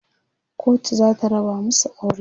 kotu zata raba masu aure